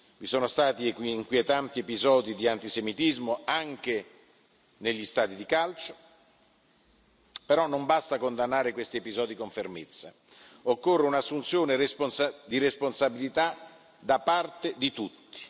Vi sono stati inquietanti episodi di antisemitismo anche negli stadi di calcio, però non basta condannare questi episodi con fermezza, occorre un'assunzione di responsabilità da parte di tutti.